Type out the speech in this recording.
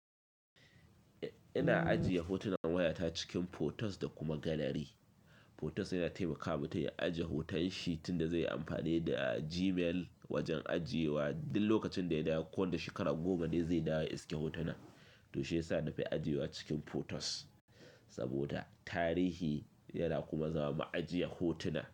Ina ajiye hotunan wayata cikin photos da kuma gallery. Photos yana taimaka mutum ya ajiye hotonshi tunda zai yi amfani da Gmail wajen ajiyewa. Duk lokacin da yana konanda shekaru goma ne zai dawo iske hotunan, to shiyasa na fi ajiyewa cikin photos saboda tarihi yana kuma zama ma'ajiyar hotuna.